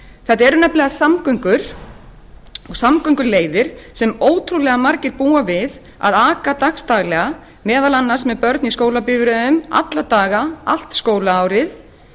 þetta eru nefnilega samgönguleiðir sem ótrúlega margir búa við að aka dagsdagslega meðal annars með börn í skólabifreiðum alla daga allt skólaárið